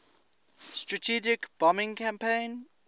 strategic bombing campaign